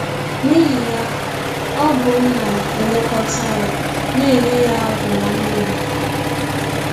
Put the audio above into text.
N’ihi ya, ọ bụ m na - elekọta ya, na - enye ya ọgwụ na nri.